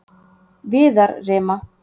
Viðarrima